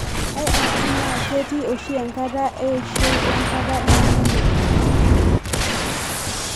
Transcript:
IRD naa ketii oshi enkata eishoi wenkata embulunoto.